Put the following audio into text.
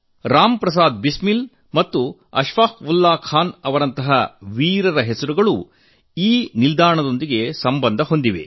ರಾಮ್ ಪ್ರಸಾದ್ ಬಿಸ್ಮಿಲ್ ಮತ್ತು ಅಶ್ಫಾಕ್ ಉಲ್ಲಾ ಖಾನ್ ಅವರಂತಹ ವೀರರ ಹೆಸರುಗಳು ಈ ನಿಲ್ದಾಣದೊಂದಿಗೆ ಸಂಬಂಧ ಹೊಂದಿವೆ